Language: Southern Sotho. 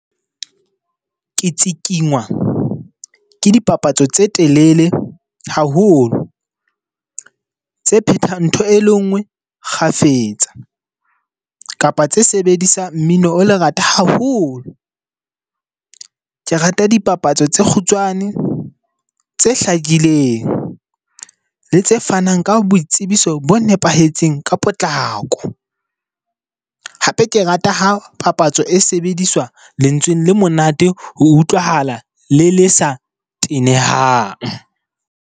Ke tsikingwa ke dipapatso tse telele haholo. Tse phethang ntho e le nngwe kgafetsa, kapa tse sebedisang mmino o lerata haholo. Ke rata dipapatso tse kgutshwane, tse hlakileng le tse fanang ka boitsebiso bo nepahetseng ka potlako. Hape ke rata hapapatso e sebediswa lentsweng le monate ho utlwahala, le le sa tenehang.